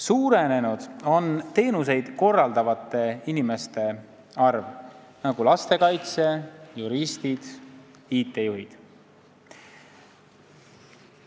Suurenenud on teenuseid korraldavate inimeste arv, nagu lastekaitsjad, juristid, IT-juhid.